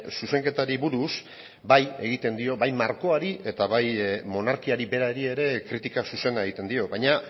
zuzenketari buruz bai egiten dio bai markoari eta bai monarkiari berari ere kritika zuzena egiten dio baina